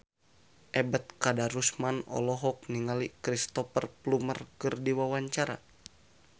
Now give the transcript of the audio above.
Ebet Kadarusman olohok ningali Cristhoper Plumer keur diwawancara